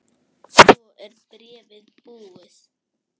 Svo er bréfið búið